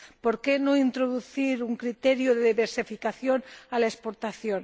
¿Por qué no introducir un criterio de diversificación a la exportación?